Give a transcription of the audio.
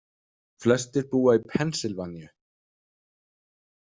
Flestir búa í Pennsylvaníu.